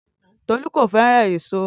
Tolu ko feran èso.